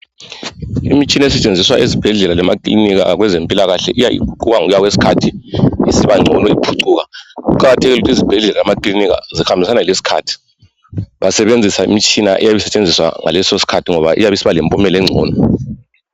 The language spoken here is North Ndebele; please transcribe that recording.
Imitshina esetshenziswa ezibhedlela lemakilinika abezempilakahle iya iqhuba ngokuya kwesikhathi isibangcono iphucuka. Kuqakathekile ukuthi izibhedlela lamakilinika zihambisane lesikhathi basebenzise imitshina eyabe isetshenziswa ngaleso sikhathi ngoba iyabe isiba lempumela engcono.